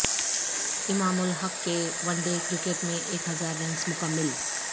امام الحق کے one day cricket میں ایک ہزار رنز مکمل